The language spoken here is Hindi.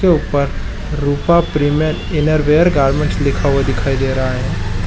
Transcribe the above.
एक ऊपर रूपा प्रीमियम इनरवियर गारमेंट लिखा हुआ है दिखाई दे रहा है ।